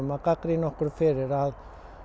að gagnrýna okkur fyrir að